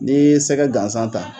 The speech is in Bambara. Ni sɛgɛ gansan ta